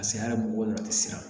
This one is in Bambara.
Ka se a mɔgɔw la ti siran